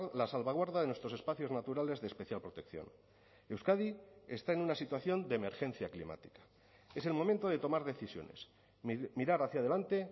la salvaguarda de nuestros espacios naturales de especial protección euskadi está en una situación de emergencia climática es el momento de tomar decisiones mirar hacia adelante